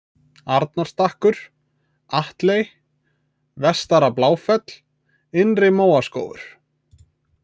Arnarstakkur, Atley, Vestara-Bláfell, Innri-Móaskógur